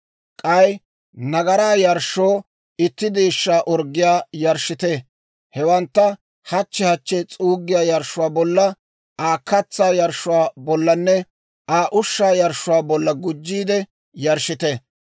K'ay nagaraa yarshshoo itti deeshshaa orggiyaa yarshshite. Hewantta hachchi hachchi s'uuggiyaa yarshshuwaa bolla, Aa katsaa yarshshuwaa bollanne Aa ushshaa yarshshuwaa bolla gujjiide yarshshite.